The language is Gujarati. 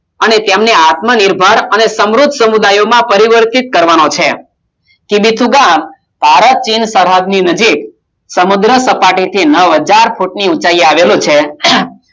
અને તેમને આત્મા નિર્ધાર અને સમૃદ્ધ સમુદાયોમાં પરિવર્તિત કરવાનો છે કી વી થ્રૂ ગામ ભારત ચીન સરહદ ની નજીક સમુદ્ર સપાટી થી નવહજાર ફૂટ ની ઉચાઈએ આવેલું છે